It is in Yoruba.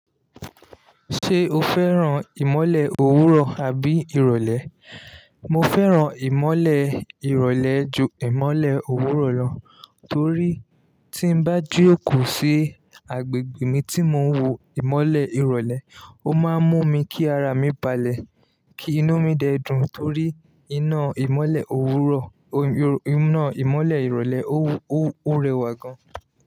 Ṣé o fẹ́ràn ìmọ́lẹ̀ òwúrọ̀ àbí ìrọ̀lẹ́? Mo fẹ́ràn ìmọ́lẹ̀ ìrọ̀lẹ́ ju ìmọ́lẹ̀ òwúrọ̀ lọ torí tí ń bá jòókòó sí agbègbè mi tí mò ń wo ìmọ́lẹ̀ ìrọ̀lẹ́, ó máa ń mú mi kí ara mi balẹ̀, kí inú mi dẹ dùn torí iná ìmọ́lẹ̀ òwúrọ̀, iná ìmọ́lẹ̀ ìrọ̀lẹ́ ó rẹwà gán.